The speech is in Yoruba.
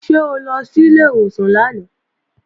Ṣé o lọ sí ilé ìwòsàn lánàá?